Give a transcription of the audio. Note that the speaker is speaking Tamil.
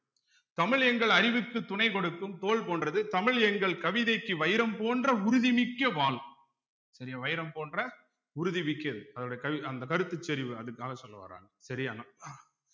தமிழ் எங்கள் அறிவுக்கு துணை கொடுக்கும் தோல் போன்றது தமிழ் எங்கள் கவிதைக்கு வைரம் போன்ற உறுதி மிக்க வாள் சரியா வைரம் போன்ற உறுதிமிக்கது அதனுடைய கல் அந்த கருத்து செறிவு அதுக்காக சொல்ல வராங்க சரியான